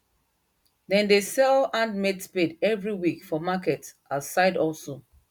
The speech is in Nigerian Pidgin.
them dey sell handmade spade every week for market as side hustle